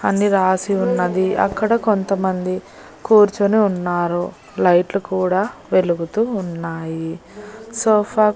అన్ని రాసి ఉన్నది అక్కడ కొంతమంది కూర్చొని ఉన్నారు లైట్లు కూడా వెలుగుతూ ఉన్నాయి సోఫా --